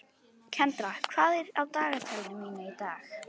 Kendra, hvað er á dagatalinu mínu í dag?